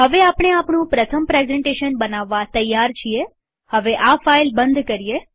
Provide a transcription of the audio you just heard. હવે આપણે આપણું પ્રથમ પ્રેઝન્ટેશન બનાવવ તૈયાર છીએહવે આ ફાઈલ બંધ કરીએ